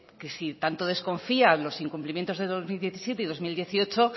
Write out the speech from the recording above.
que si tanto desconfía los incumplimientos de dos mil diecisiete y dos mil dieciocho